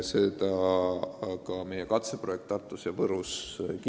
Seda kinnitas ka meie katseprojekt Tartus ja Võrus.